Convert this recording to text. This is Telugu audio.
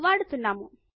ను వాడుతున్నాము